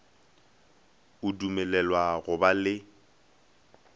o dumelelwa go ba le